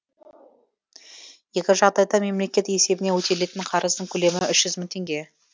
екі жағдайда да мемлекет есебінен өтелетін қарыздың көлемі үш жүз мың теңге